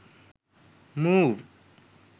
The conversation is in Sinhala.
move